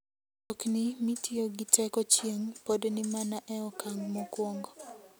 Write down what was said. Mtokni mitiyo gi teko chieng' pod ni mana e okang' mokwongo.